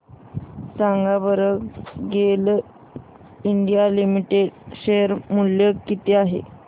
सांगा बरं GAIL India limited share मूल्य किती आहे